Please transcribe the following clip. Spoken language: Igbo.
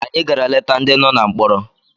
Anyị gara leta ndị nọ na mkpọrọ